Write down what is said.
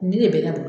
Nin de bɛ ka